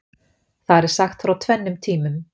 Þar er sagt frá tvennum tímum.